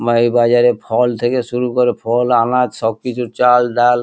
মা এই বাজারে ফল থেকে শুরু করে ফল আনাজ সবকিছু চাল ডাল--